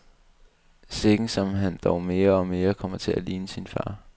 Sikken som han dog mere og mere kommer til at ligne sin far.